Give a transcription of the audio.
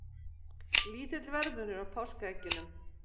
Lítill verðmunur á páskaeggjunum